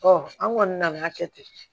an kɔni nana kɛ ten